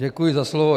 Děkuji za slovo.